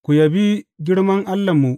Ku yabi girman Allahnmu!